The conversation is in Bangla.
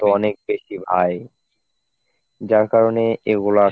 অনেক বেশি ভাই. যার কারণে এগুলা